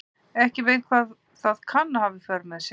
Veit ekki hvað það kann að hafa í för með sér.